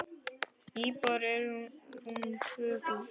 Íbúar eru rúm tvö þúsund.